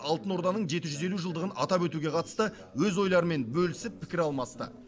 алтын орданың жеті жүз елу жылдығын атап өтуге қатысты өз ойларымен бөлісіп пікір алмасты